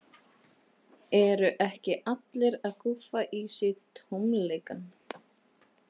Eru ekki allir að gúffa í sig tómleikann?